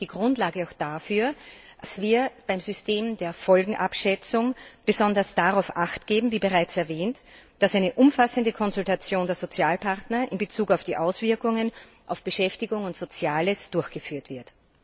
Sie ist für mich die Grundlage auch dafür, dass wir beim System der Folgenabschätzung besonders darauf achtgeben wie bereits erwähnt dass eine umfassende Konsultation der Sozialpartner in Bezug auf die Auswirkungen auf Beschäftigung und Soziales durchgeführt wird.